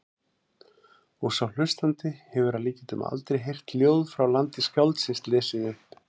Og sá hlustandi hefur að líkindum aldrei heyrt ljóð frá landi skáldsins lesið upp.